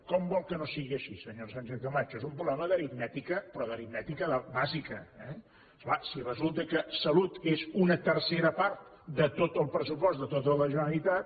com vol que no sigui així senyora sánchez camacho és un problema d’aritmètica però d’aritmètica bàsica eh és clar si resulta que salut és una tercera part de tot el pressupost de tota la generalitat